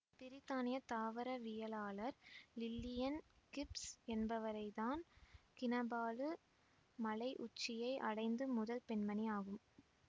பிரித்தானிய தாவரவியலாளர் Lillian Gibbs என்பவர் தான் கினபாலு மலை உச்சியை அடைந்த முதல் பெண்மணி ஆகும்